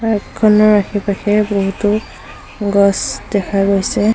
পাৰ্কখনত আশে পাশে বহুতো গছ দেখা গৈছে।